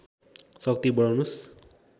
शक्ति बढाउनुस्